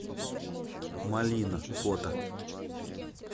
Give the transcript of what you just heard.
малина фото